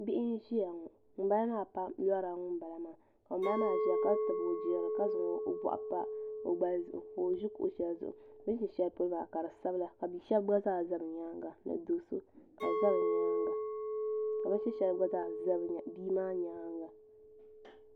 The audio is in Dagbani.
Bihi n ziya ŋɔ ŋuni bala maa lɔrila ŋuni bala maa ka ŋuni bala maa ziya ka tabi o girili ka zaŋ o bɔɣu n pa o gbali zuɣu ka bi zi kuɣu shɛli zuɣu bini zi shɛli polo maa ka di sabigi ka ka bini shɛli gba zaa za bia maa yɛanga bia shɛb gba za bi yɛanga ni do so kabi za bi yɛanga .